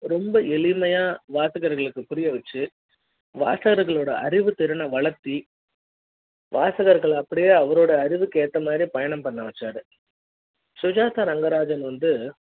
ரொம்ப எளிமையா வாசகர்களுக்கு புரிய வெச்சு வாசகர்களோட அறிவு திறனை வளர்த்து வாசகர்கள அப்படியே அவரோட அறிவுக்கு ஏத்த மாதிரி பயணம் பண்ண வச்சாரு சுஜாதா ரங்கராஜன் வந்து